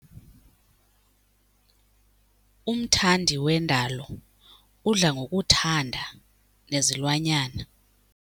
Umthandi wendalo udla ngokuthanda nezilwanyana.